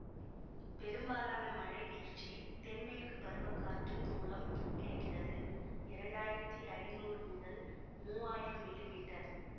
பெரும்பாலான மழைவீழ்ச்சி தென்மேற்கு பருவ காற்று மூலம் கிடைக்கிறது இரண்டாயிரத்தி ஐநூறு முதல் மூவாயிரம் மில்லி மீட்டர்